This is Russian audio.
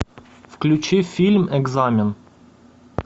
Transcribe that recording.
включи фильм экзамен